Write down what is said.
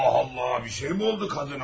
Allah Allah, bir şey mi oldu qadına?